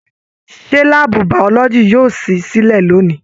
Ṣe láàbù biology yóò sì silẹ lóni?